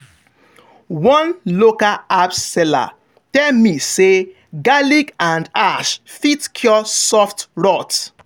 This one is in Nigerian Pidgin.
one local herb seller tell me say garlic and ash fit cure soft rot.